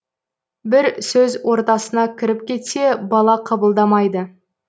бір сөз ортасына кіріп кетсе бала қабылдамайды